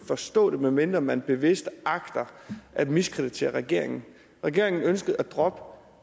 forstå det medmindre man bevidst agter at miskreditere regeringen regeringen ønskede at droppe